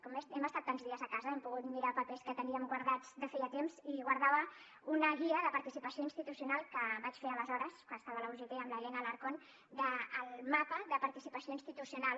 com que hem estat tants dies a casa hem pogut mirar papers que teníem guardats de feia temps i guardava una guia de participació institucional que vaig fer aleshores quan estava a la ugt amb l’helena alarcón del mapa de participació institucional